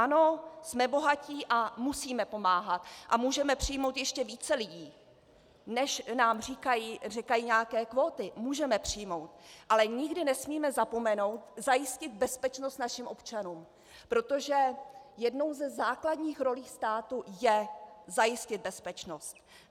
Ano, jsme bohatí a musíme pomáhat a můžeme přijmout ještě více lidí, než nám říkají nějaké kvóty, můžeme přijmout, ale nikdy nesmíme zapomenout zajistit bezpečnost našim občanům, protože jednou ze základních rolí státu je zajistit bezpečnost.